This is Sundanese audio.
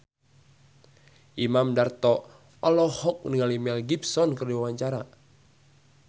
Imam Darto olohok ningali Mel Gibson keur diwawancara